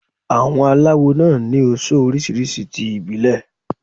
Àwọn aláwo náà ni oso oríṣiríṣi ti ìbílẹ̀.